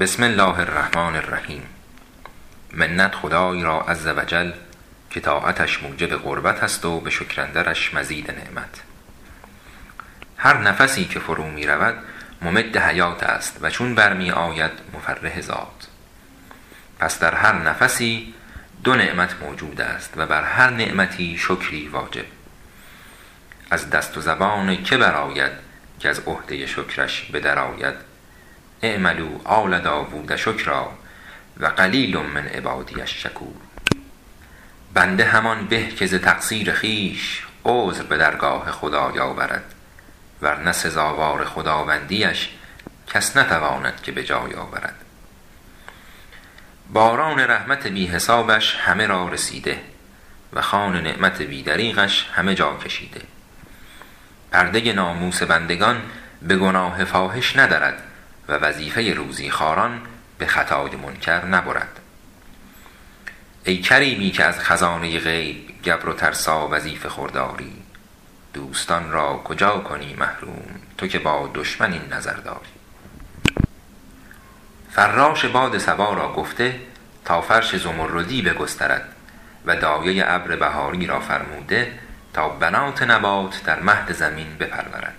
بسم الله الرحمن الرحیم منت خدای را عز و جل که طاعتش موجب قربت است و به شکر اندرش مزید نعمت هر نفسی که فرو می رود ممد حیات است و چون بر می آید مفرح ذات پس در هر نفسی دو نعمت موجود است و بر هر نعمتی شکری واجب از دست و زبان که برآید کز عهده شکرش به در آید اعملوا آل داود شکرا و قلیل من عبادی الشکور بنده همان به که ز تقصیر خویش عذر به درگاه خدای آورد ور نه سزاوار خداوندی اش کس نتواند که به جای آورد باران رحمت بی حسابش همه را رسیده و خوان نعمت بی دریغش همه جا کشیده پرده ناموس بندگان به گناه فاحش ندرد و وظیفه روزی به خطای منکر نبرد ای کریمی که از خزانه غیب گبر و ترسا وظیفه خور داری دوستان را کجا کنی محروم تو که با دشمن این نظر داری فراش باد صبا را گفته تا فرش زمردی بگسترد و دایه ابر بهاری را فرموده تا بنات نبات در مهد زمین بپرورد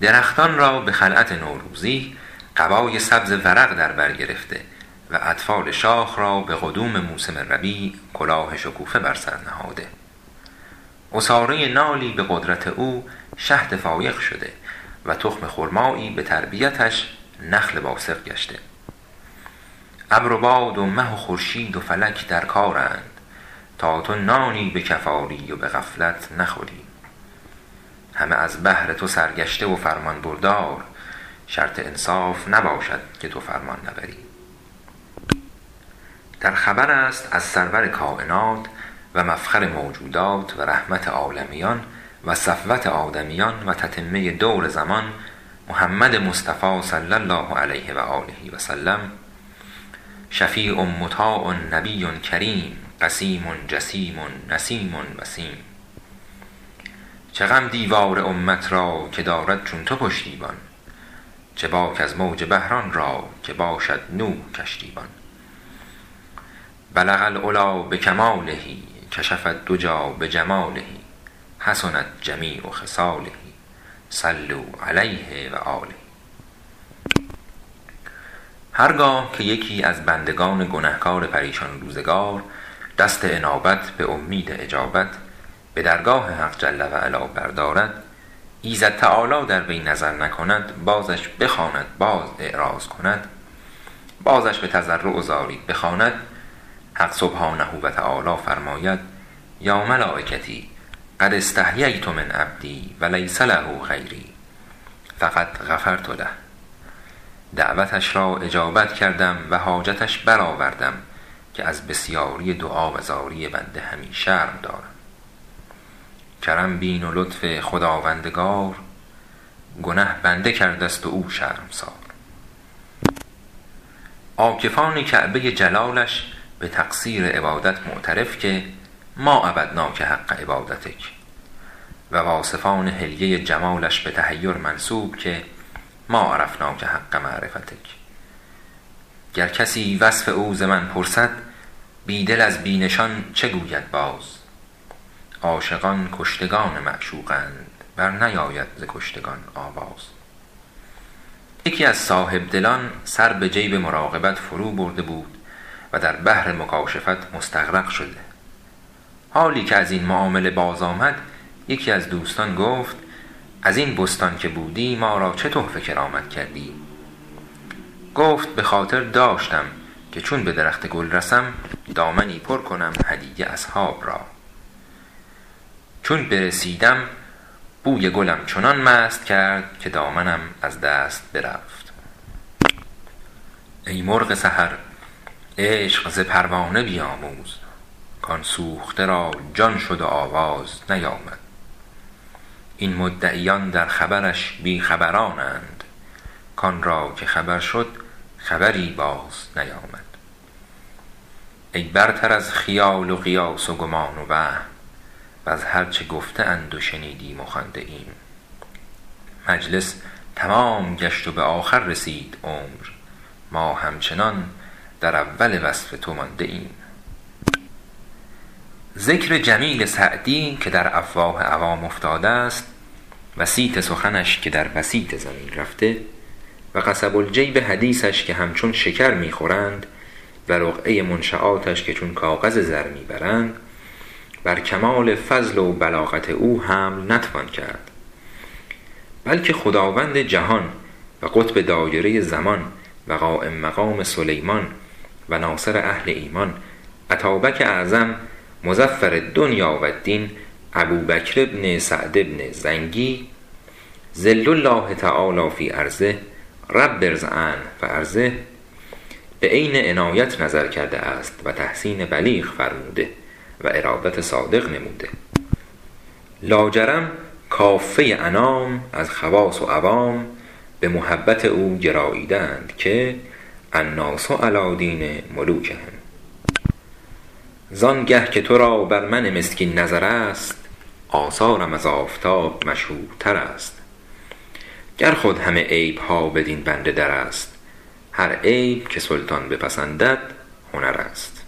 درختان را به خلعت نوروزی قبای سبز ورق در بر گرفته و اطفال شاخ را به قدوم موسم ربیع کلاه شکوفه بر سر نهاده عصاره نالی به قدرت او شهد فایق شده و تخم خرمایی به تربیتش نخل باسق گشته ابر و باد و مه و خورشید و فلک در کارند تا تو نانی به کف آری و به غفلت نخوری همه از بهر تو سرگشته و فرمانبردار شرط انصاف نباشد که تو فرمان نبری در خبر است از سرور کاینات و مفخر موجودات و رحمت عالمیان و صفوت آدمیان و تتمه دور زمان محمد مصطفی صلی الله علیه و سلم شفیع مطاع نبی کریم قسیم جسیم نسیم وسیم چه غم دیوار امت را که دارد چون تو پشتیبان چه باک از موج بحر آن را که باشد نوح کشتی بان بلغ العلیٰ بکماله کشف الدجیٰ بجماله حسنت جمیع خصاله صلوا علیه و آله هر گاه که یکی از بندگان گنهکار پریشان روزگار دست انابت به امید اجابت به درگاه حق جل و علا بردارد ایزد تعالی در وی نظر نکند بازش بخواند باز اعراض کند بازش به تضرع و زاری بخواند حق سبحانه و تعالی فرماید یا ملایکتی قد استحییت من عبدی و لیس له غیری فقد غفرت له دعوتش را اجابت کردم و حاجتش برآوردم که از بسیاری دعا و زاری بنده همی شرم دارم کرم بین و لطف خداوندگار گنه بنده کرده ست و او شرمسار عاکفان کعبه جلالش به تقصیر عبادت معترف که ما عبدناک حق عبادتک و واصفان حلیه جمالش به تحیر منسوب که ما عرفناک حق معرفتک گر کسی وصف او ز من پرسد بی دل از بی نشان چه گوید باز عاشقان کشتگان معشوقند بر نیاید ز کشتگان آواز یکی از صاحبدلان سر به جیب مراقبت فرو برده بود و در بحر مکاشفت مستغرق شده حالی که از این معامله باز آمد یکی از دوستان گفت از این بستان که بودی ما را چه تحفه کرامت کردی گفت به خاطر داشتم که چون به درخت گل رسم دامنی پر کنم هدیه اصحاب را چون برسیدم بوی گلم چنان مست کرد که دامنم از دست برفت ای مرغ سحر عشق ز پروانه بیاموز کآن سوخته را جان شد و آواز نیامد این مدعیان در طلبش بی خبرانند کآن را که خبر شد خبری باز نیامد ای برتر از خیال و قیاس و گمان و وهم وز هر چه گفته اند و شنیدیم و خوانده ایم مجلس تمام گشت و به آخر رسید عمر ما همچنان در اول وصف تو مانده ایم ذکر جمیل سعدی که در افواه عوام افتاده است و صیت سخنش که در بسیط زمین رفته و قصب الجیب حدیثش که همچون شکر می خورند و رقعه منشیاتش که چون کاغذ زر می برند بر کمال فضل و بلاغت او حمل نتوان کرد بلکه خداوند جهان و قطب دایره زمان و قایم مقام سلیمان و ناصر اهل ایمان اتابک اعظم مظفر الدنیا و الدین ابوبکر بن سعد بن زنگی ظل الله تعالیٰ في أرضه رب ارض عنه و أرضه به عین عنایت نظر کرده است و تحسین بلیغ فرموده و ارادت صادق نموده لاجرم کافه انام از خواص و عوام به محبت او گراییده اند که الناس علیٰ دین ملوکهم زآن گه که تو را بر من مسکین نظر است آثارم از آفتاب مشهورتر است گر خود همه عیب ها بدین بنده در است هر عیب که سلطان بپسندد هنر است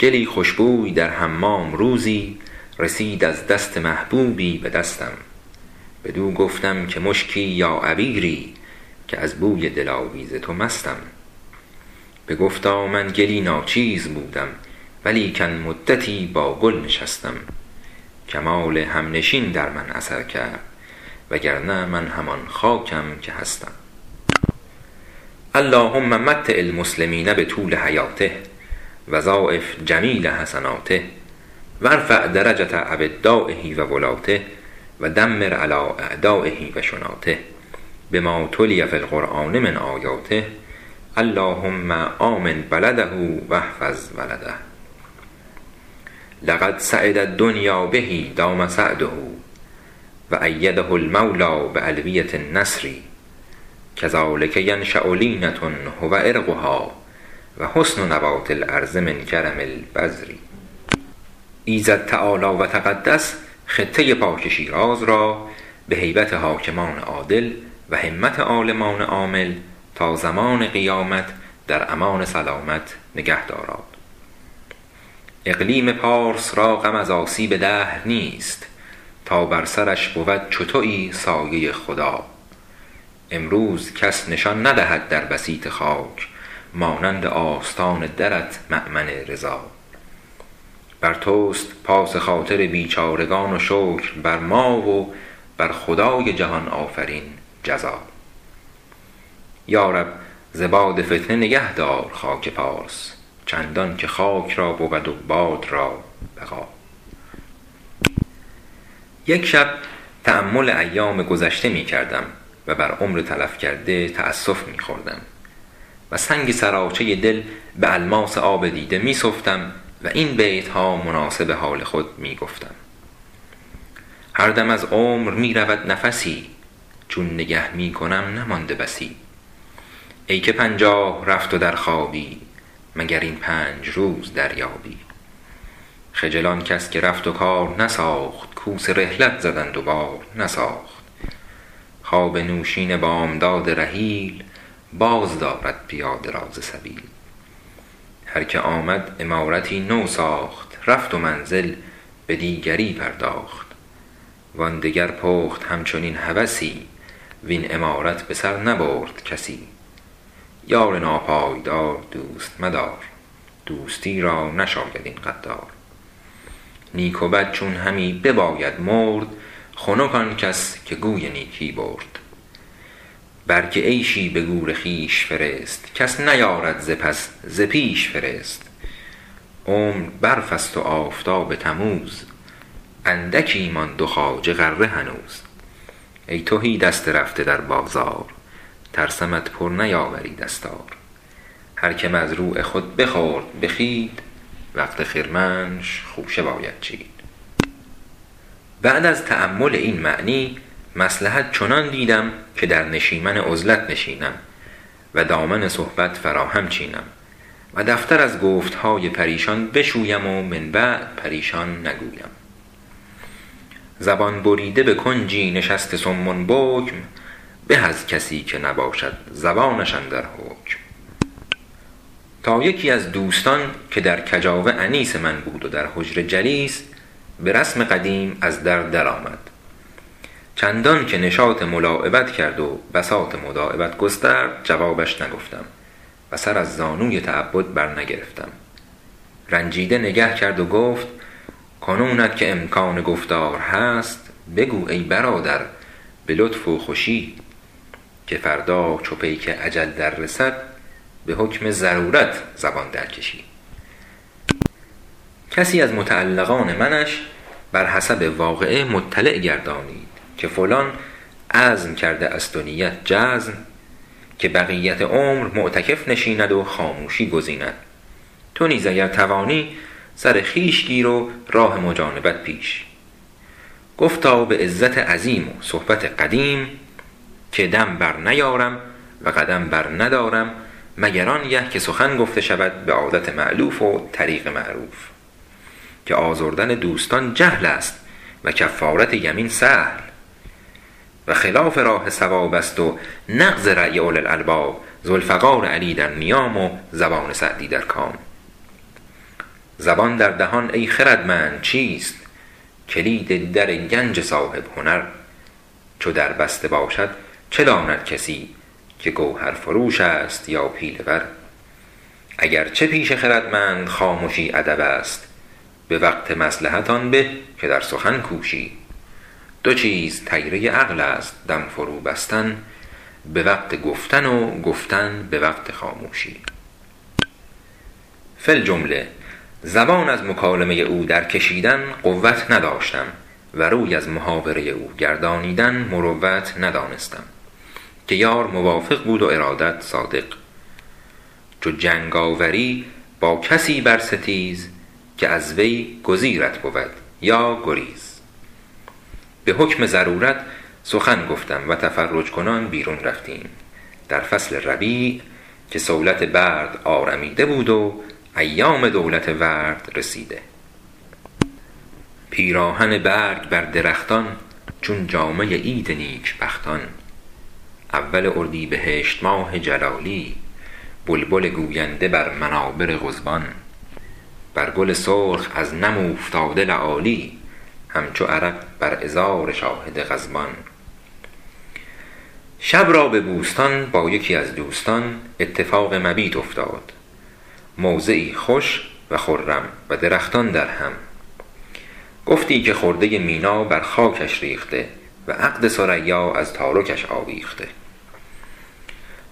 گلی خوش بوی در حمام روزی رسید از دست محبوبی به دستم بدو گفتم که مشکی یا عبیری که از بوی دلاویز تو مستم بگفتا من گلی ناچیز بودم و لیکن مدتی با گل نشستم کمال همنشین در من اثر کرد وگرنه من همان خاکم که هستم اللهم متع المسلمین بطول حیاته و ضاعف جمیل حسناته و ارفع درجة أودایه و ولاته و دمر علیٰ أعدایه و شناته بما تلي في القرآن من آیاته اللهم آمن بلده و احفظ ولده لقد سعد الدنیا به دام سعده و أیده المولیٰ بألویة النصر کذلک ینشأ لینة هو عرقها و حسن نبات الأرض من کرم البذر ایزد تعالی و تقدس خطه پاک شیراز را به هیبت حاکمان عادل و همت عالمان عامل تا زمان قیامت در امان سلامت نگه داراد اقلیم پارس را غم از آسیب دهر نیست تا بر سرش بود چو تویی سایه خدا امروز کس نشان ندهد در بسیط خاک مانند آستان درت مأمن رضا بر توست پاس خاطر بیچارگان و شکر بر ما و بر خدای جهان آفرین جزا یا رب ز باد فتنه نگهدار خاک پارس چندان که خاک را بود و باد را بقا یک شب تأمل ایام گذشته می کردم و بر عمر تلف کرده تأسف می خوردم و سنگ سراچه دل به الماس آب دیده می سفتم و این بیت ها مناسب حال خود می گفتم هر دم از عمر می رود نفسی چون نگه می کنم نمانده بسی ای که پنجاه رفت و در خوابی مگر این پنج روز دریابی خجل آن کس که رفت و کار نساخت کوس رحلت زدند و بار نساخت خواب نوشین بامداد رحیل باز دارد پیاده را ز سبیل هر که آمد عمارتی نو ساخت رفت و منزل به دیگری پرداخت وآن دگر پخت همچنین هوسی وین عمارت به سر نبرد کسی یار ناپایدار دوست مدار دوستی را نشاید این غدار نیک و بد چون همی بباید مرد خنک آن کس که گوی نیکی برد برگ عیشی به گور خویش فرست کس نیارد ز پس ز پیش فرست عمر برف است و آفتاب تموز اندکی ماند و خواجه غره هنوز ای تهی دست رفته در بازار ترسمت پر نیاوری دستار هر که مزروع خود بخورد به خوید وقت خرمنش خوشه باید چید بعد از تأمل این معنی مصلحت چنان دیدم که در نشیمن عزلت نشینم و دامن صحبت فراهم چینم و دفتر از گفت های پریشان بشویم و من بعد پریشان نگویم زبان بریده به کنجی نشسته صم بکم به از کسی که نباشد زبانش اندر حکم تا یکی از دوستان که در کجاوه انیس من بود و در حجره جلیس به رسم قدیم از در در آمد چندان که نشاط ملاعبت کرد و بساط مداعبت گسترد جوابش نگفتم و سر از زانوی تعبد بر نگرفتم رنجیده نگه کرد و گفت کنونت که امکان گفتار هست بگو ای برادر به لطف و خوشی که فردا چو پیک اجل در رسید به حکم ضرورت زبان در کشی کسی از متعلقان منش بر حسب واقعه مطلع گردانید که فلان عزم کرده است و نیت جزم که بقیت عمر معتکف نشیند و خاموشی گزیند تو نیز اگر توانی سر خویش گیر و راه مجانبت پیش گفتا به عزت عظیم و صحبت قدیم که دم بر نیارم و قدم بر ندارم مگر آن گه که سخن گفته شود به عادت مألوف و طریق معروف که آزردن دوستان جهل است و کفارت یمین سهل و خلاف راه صواب است و نقص رای اولوالالباب ذوالفقار علی در نیام و زبان سعدی در کام زبان در دهان ای خردمند چیست کلید در گنج صاحب هنر چو در بسته باشد چه داند کسی که جوهرفروش است یا پیله ور اگر چه پیش خردمند خامشی ادب است به وقت مصلحت آن به که در سخن کوشی دو چیز طیره عقل است دم فرو بستن به وقت گفتن و گفتن به وقت خاموشی فی الجمله زبان از مکالمه او در کشیدن قوت نداشتم و روی از محاوره او گردانیدن مروت ندانستم که یار موافق بود و ارادت صادق چو جنگ آوری با کسی بر ستیز که از وی گزیرت بود یا گریز به حکم ضرورت سخن گفتم و تفرج کنان بیرون رفتیم در فصل ربیع که صولت برد آرمیده بود و ایام دولت ورد رسیده پیراهن برگ بر درختان چون جامه عید نیک بختان اول اردیبهشت ماه جلالی بلبل گوینده بر منابر قضبان بر گل سرخ از نم اوفتاده لآلی همچو عرق بر عذار شاهد غضبان شب را به بوستان با یکی از دوستان اتفاق مبیت افتاد موضعی خوش و خرم و درختان درهم گفتی که خرده مینا بر خاکش ریخته و عقد ثریا از تارکش آویخته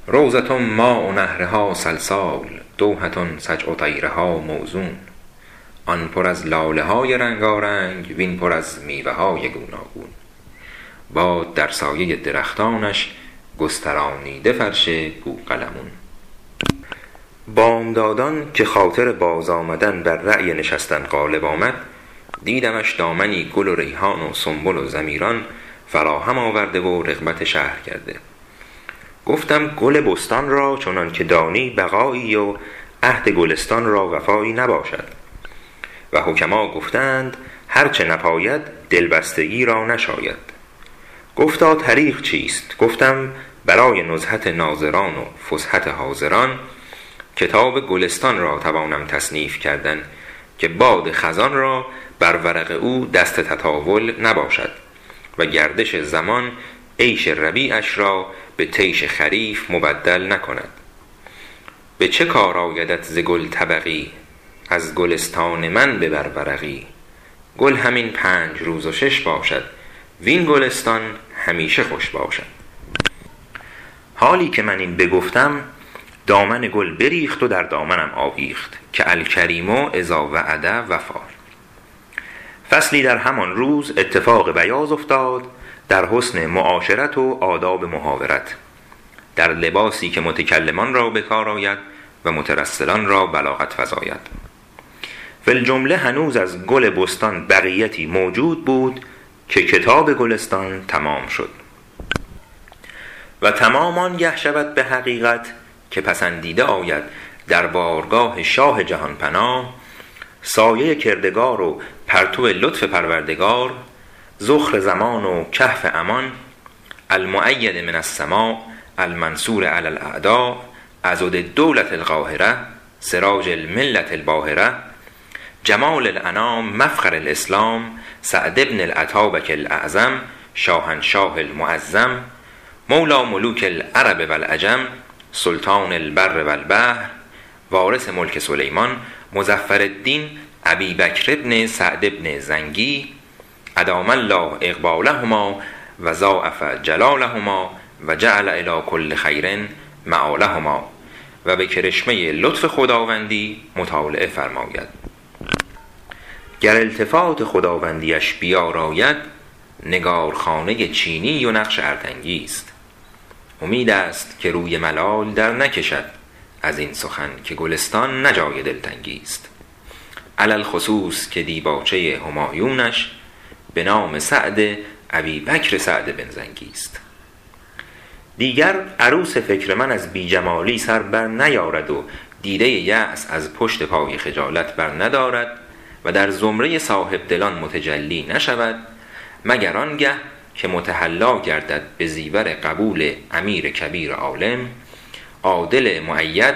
روضة ماء نهرها سلسال دوحة سجع طیرها موزون آن پر از لاله های رنگارنگ وین پر از میوه های گوناگون باد در سایه درختانش گسترانیده فرش بوقلمون بامدادان که خاطر باز آمدن بر رای نشستن غالب آمد دیدمش دامنی گل و ریحان و سنبل و ضیمران فراهم آورده و رغبت شهر کرده گفتم گل بستان را چنان که دانی بقایی و عهد گلستان را وفایی نباشد و حکما گفته اند هر چه نپاید دلبستگی را نشاید گفتا طریق چیست گفتم برای نزهت ناظران و فسحت حاضران کتاب گلستان توانم تصنیف کردن که باد خزان را بر ورق او دست تطاول نباشد و گردش زمان عیش ربیعش را به طیش خریف مبدل نکند به چه کار آیدت ز گل طبقی از گلستان من ببر ورقی گل همین پنج روز و شش باشد وین گلستان همیشه خوش باشد حالی که من این بگفتم دامن گل بریخت و در دامنم آویخت که الکریم إذا وعد وفا فصلی در همان روز اتفاق بیاض افتاد در حسن معاشرت و آداب محاورت در لباسی که متکلمان را به کار آید و مترسلان را بلاغت بیفزاید فی الجمله هنوز از گل بستان بقیتی موجود بود که کتاب گلستان تمام شد و تمام آن گه شود به حقیقت که پسندیده آید در بارگاه شاه جهان پناه سایه کردگار و پرتو لطف پروردگار ذخر زمان و کهف امان المؤید من السماء المنصور علی الأعداء عضد الدولة القاهرة سراج الملة الباهرة جمال الأنام مفخر الإسلام سعد بن الاتابک الاعظم شاهنشاه المعظم مولیٰ ملوک العرب و العجم سلطان البر و البحر وارث ملک سلیمان مظفرالدین أبی بکر بن سعد بن زنگی أدام الله إقبالهما و ضاعف جلالهما و جعل إلیٰ کل خیر مآلهما و به کرشمه لطف خداوندی مطالعه فرماید گر التفات خداوندی اش بیاراید نگارخانه چینی و نقش ارتنگی ست امید هست که روی ملال در نکشد از این سخن که گلستان نه جای دلتنگی ست علی الخصوص که دیباچه همایونش به نام سعد ابوبکر سعد بن زنگی ست دیگر عروس فکر من از بی جمالی سر بر نیارد و دیده یأس از پشت پای خجالت بر ندارد و در زمره صاحب دلان متجلی نشود مگر آن گه که متحلی گردد به زیور قبول امیر کبیر عالم عادل مؤید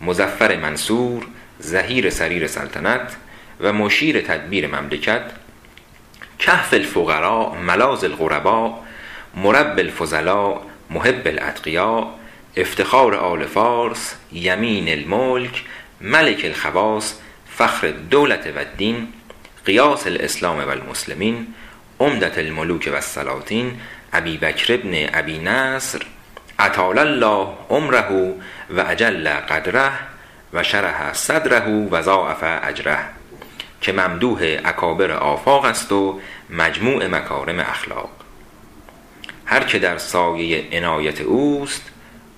مظفر منصور ظهیر سریر سلطنت و مشیر تدبیر مملکت کهف الفقرا ملاذ الغربا مربی الفضلا محب الأتقیا افتخار آل فارس یمین الملک ملک الخواص فخر الدولة و الدین غیاث الإسلام و المسلمین عمدة الملوک و السلاطین ابوبکر بن أبي نصر أطال الله عمره و أجل قدره و شرح صدره و ضاعف أجره که ممدوح اکابر آفاق است و مجموع مکارم اخلاق هر که در سایه عنایت اوست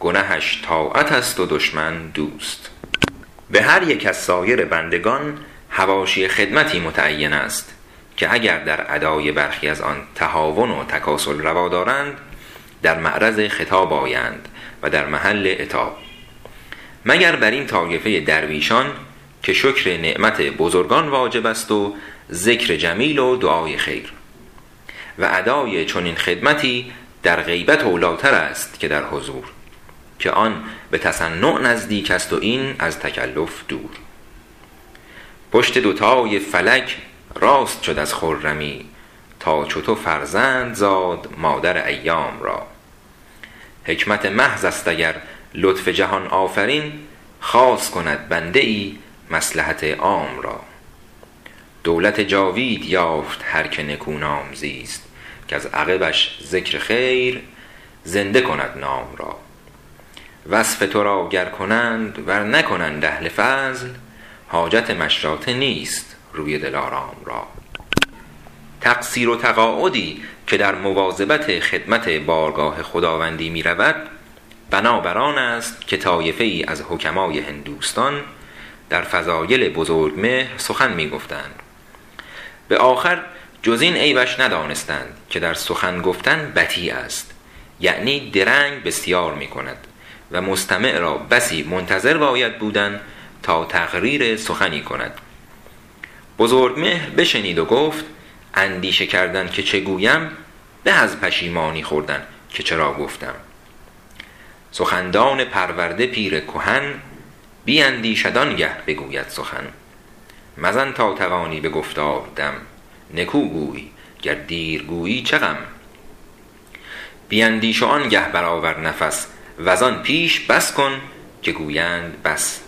گنهش طاعت است و دشمن دوست به هر یک از سایر بندگان حواشی خدمتی متعین است که اگر در ادای برخی از آن تهاون و تکاسل روا دارند در معرض خطاب آیند و در محل عتاب مگر بر این طایفه درویشان که شکر نعمت بزرگان واجب است و ذکر جمیل و دعای خیر و اداء چنین خدمتی در غیبت اولی ٰتر است که در حضور که آن به تصنع نزدیک است و این از تکلف دور پشت دوتای فلک راست شد از خرمی تا چو تو فرزند زاد مادر ایام را حکمت محض است اگر لطف جهان آفرین خاص کند بنده ای مصلحت عام را دولت جاوید یافت هر که نکونام زیست کز عقبش ذکر خیر زنده کند نام را وصف تو را گر کنند ور نکنند اهل فضل حاجت مشاطه نیست روی دلارام را تقصیر و تقاعدی که در مواظبت خدمت بارگاه خداوندی می رود بنا بر آن است که طایفه ای از حکماء هندوستان در فضایل بزرجمهر سخن می گفتند به آخر جز این عیبش ندانستند که در سخن گفتن بطی است یعنی درنگ بسیار می کند و مستمع را بسی منتظر باید بودن تا تقریر سخنی کند بزرجمهر بشنید و گفت اندیشه کردن که چه گویم به از پشیمانی خوردن که چرا گفتم سخندان پرورده پیر کهن بیندیشد آن گه بگوید سخن مزن تا توانی به گفتار دم نکو گوی گر دیر گویی چه غم بیندیش وآن گه بر آور نفس وز آن پیش بس کن که گویند بس